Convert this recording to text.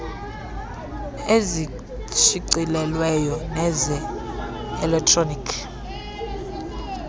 ezishicilelweyo neze elektroni